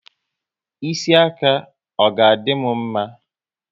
Ịsị aka, ọ ga dị m mma?